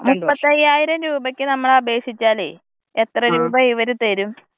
മുപ്പത്തയ്യായിരം രൂപക്ക് നമ്മള് അപേക്ഷിച്ചാലേ എത്ര രൂപ ഇവര് തരും.